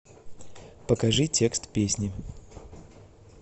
покажи текст песни